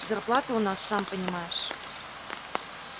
зарплаты у нас сам понимаешь